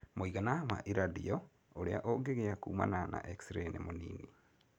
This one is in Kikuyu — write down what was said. Mũigana wa iradiyo ũrĩa ũngĩgia kumana na Xray nĩ mĩnini.